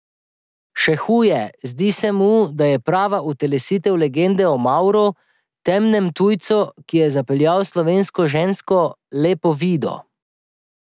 Še huje, zdi se mu, da je prava utelesitev legende o Mavru, temnem tujcu, ki je zapeljal slovensko žensko, lepo Vido.